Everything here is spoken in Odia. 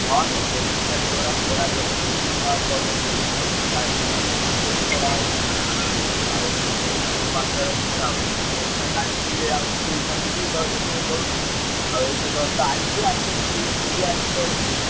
ହଁ ଏଠି ବା ସେଇଭଳିଆ ଖରା ଯୋଉଭଳିଆ ହଉଛି ମୁଁ ବା college ମଲେଜ୍ ଯାଇପାରୁନି ଏତେ ଜୋର୍ ଖରା ହଉଛି। ଆଉ ବହୁତ ଜୋର ମାତ୍ରାରେ ଖରା ହଉଛି। ମୁଁ ଏଇଖିନା ଯାଇଥିଲେ ଯେ ଆଉ school କତିକି ଜଳଛତ୍ର ଦଉଛନ୍ତି। ଆଉ ଏଇତ just ଆଇଲି ଆଉ ପିଇକି ବି ଆଇଛି ଜଳଛତ୍ର।